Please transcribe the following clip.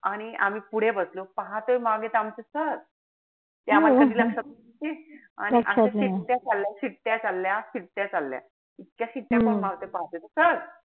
आणि आम्ही पुढे बसलो पाहतोय मागे त आमचे sir. ते आम्हाला कधी लक्षात. आणि अशा शिट्ट्या शिट्ट्या चालल्या. त्या शिट्ट्या कोण मारताय पाहतो त sir.